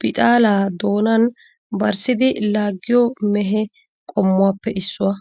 bixaala doonan barssidi laaggiyo mehe qommuwaappe issuwa.